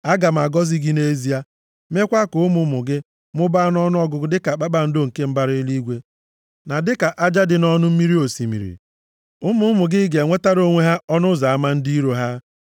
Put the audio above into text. aga m agọzi gị nʼezie, mekwa ka ụmụ ụmụ gị mụbaa nʼọnụọgụgụ dịka kpakpando nke mbara eluigwe na dịka aja dị nʼọnụ mmiri osimiri. Ụmụ ụmụ gị ga-enwetara onwe ha ọnụ ụzọ ama ndị iro ha.